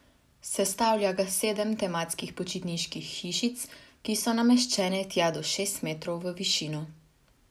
Sestavlja ga sedem tematskih počitniških hišic, ki so nameščene tja do šest metrov v višino.